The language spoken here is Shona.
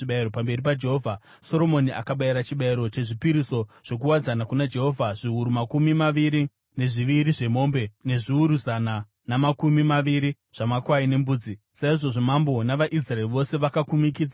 Soromoni akabayira chibayiro chezvipiriso zvokuwadzana kuna Jehovha; zviuru makumi maviri nezviviri zvemombe nezviuru zana namakumi maviri zvamakwai nembudzi. Saizvozvo mambo navaIsraeri vose vakakumikidza temberi yaJehovha.